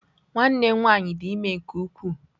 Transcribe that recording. Nwanne m nwanyị dị ime nke ukwuu.